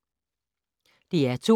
DR2